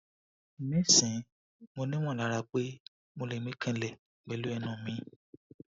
nisin mo ni molara pe mo le mi kanlepelu enu mi